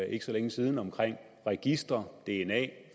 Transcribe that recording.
ikke så længe siden omkring registre dna